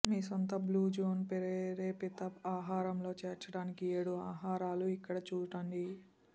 మీ సొంత blue zone ప్రేరేపిత ఆహారం లో చేర్చడానికి ఏడు ఆహారాలు ఇక్కడ చూడండి